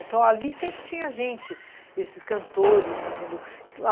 Então ali sempre tinha gente, esses cantores, entendeu?